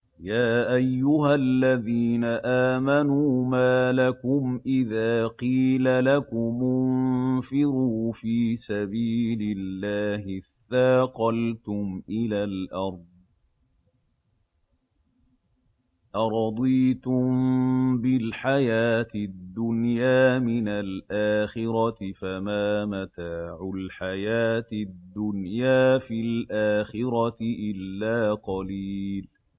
يَا أَيُّهَا الَّذِينَ آمَنُوا مَا لَكُمْ إِذَا قِيلَ لَكُمُ انفِرُوا فِي سَبِيلِ اللَّهِ اثَّاقَلْتُمْ إِلَى الْأَرْضِ ۚ أَرَضِيتُم بِالْحَيَاةِ الدُّنْيَا مِنَ الْآخِرَةِ ۚ فَمَا مَتَاعُ الْحَيَاةِ الدُّنْيَا فِي الْآخِرَةِ إِلَّا قَلِيلٌ